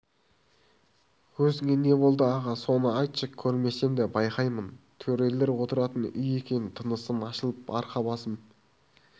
көзіңе не болды аға соны айтшы көрмесем де байқаймын төрелер отыратын үй екен тынысым ашылып арқа-басым